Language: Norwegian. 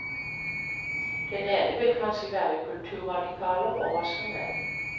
Den ene vil kanskje være kulturradikaler og rasjonell.